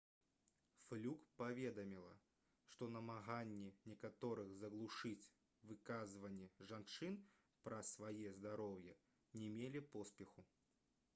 флюк паведаміла што намаганні некаторых заглушыць выказванні жанчын пра свае здароўе не мелі поспеху